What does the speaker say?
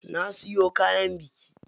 Na siyo kayan biki.